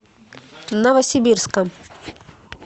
новосибирска